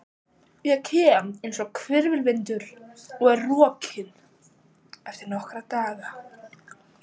Ég kem einsog hvirfilvindur og er rokinn eftir nokkra daga.